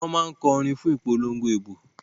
Wọ́n máa ń kọ orin fún ìpolongo ìbò.